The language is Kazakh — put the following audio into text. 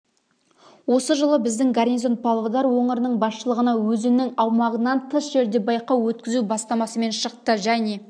осы жылы біздің гарнизон павлодар өңірінің басшылығына өзінің аумағынан тыс жерде байқау өткізу бастамасымен шықты және